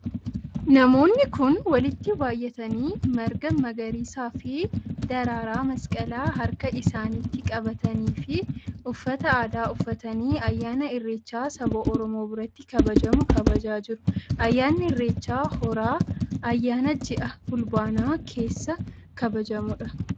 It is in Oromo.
Namoonni kun, walitti baayyatanii, marga magariisa fi daraaraa masqalaa harka isaanitti qabatanii fi uffata aadaa uffatanii ayyaana irreechaa saba oromoo biratti kabajamu kabajaa jiru. Ayyaanni irreecha horaa, ayyaana ji'a fulbaanaa keessa kabajamuu dha.